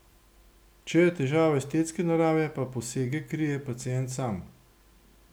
Če je težava estetske narave, pa posege krije pacient sam.